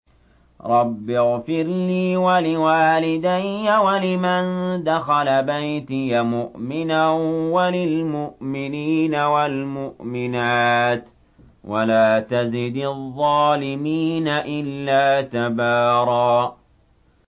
رَّبِّ اغْفِرْ لِي وَلِوَالِدَيَّ وَلِمَن دَخَلَ بَيْتِيَ مُؤْمِنًا وَلِلْمُؤْمِنِينَ وَالْمُؤْمِنَاتِ وَلَا تَزِدِ الظَّالِمِينَ إِلَّا تَبَارًا